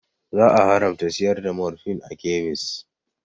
Za a haramta siyar da morfin a kemis